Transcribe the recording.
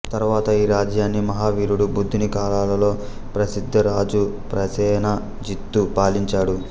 తరువాత ఈ రాజ్యాన్ని మహావీరుడు బుద్ధుని కాలాల్లో ప్రసిద్ధ రాజు ప్రసేనజిత్తు పాలించాడు